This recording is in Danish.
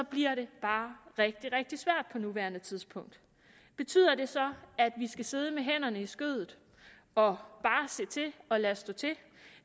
bliver det bare rigtig rigtig svært på nuværende tidspunkt betyder det så at vi skal sidde med hænderne i skødet og bare se til og lade stå til